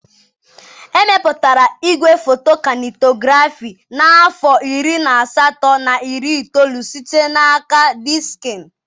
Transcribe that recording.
Emepụtara igwefoto Kainetografị n'afọ iri na asatọ na iri itoolu site n'aka Diksịn.